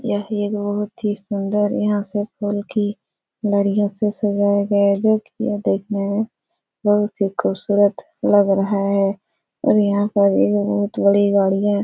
यह एक बोहोत ही सुंदर यहाँ सब फूल की लड़ियों से सजाया गया है जो कि यह देखने में बहोत ही खूबसूरत लग रहा है और यहाँ पर ये जो बोहोत बड़ी गाड़ियां --